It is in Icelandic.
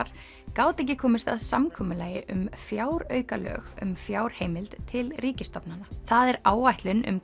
gátu ekki komist að samkomulagi um fjáraukalög um fjárheimild til ríkisstofnana það er áætlun um